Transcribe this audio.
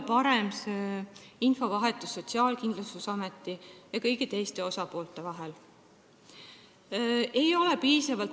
Parem võiks olla Sotsiaalkindlustusameti ja teiste osapoolte infovahetus.